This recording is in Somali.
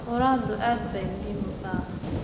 Quraacdu aad bay muhiim u tahay.